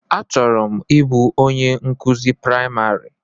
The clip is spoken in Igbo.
Achọrọ m ịbụ onye nkụzi praịmarị.